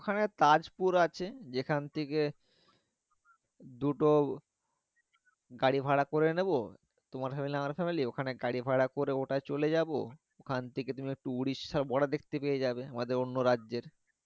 ওখানে তাজপুর আছে যেখান থেকে দুটো গাড়ি ভাড়া করে নিবো তোমার family আমার family ওখানে গাড়ি ভাড়া করে ওটাই চলে যাবো ওখান থেকে তুমি একটু উড়িষ্যা border দেখতে পেয়ে যাবে আমাদের অন্য রাজ্যের